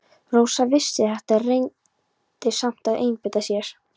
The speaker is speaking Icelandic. Rósa vissi þetta en reyndi samt að einbeita sér.